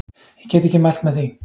Ég get ekki mælt með því.